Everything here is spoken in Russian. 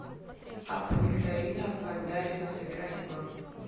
апп викторина пандарина сыграть в